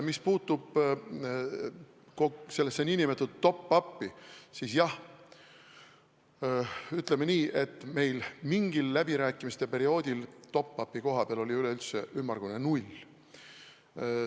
Mis puutub nn top-up'i, siis jah, ütleme nii, et meil mingil läbirääkimiste perioodil oli top-up'i koha peal ümmargune null.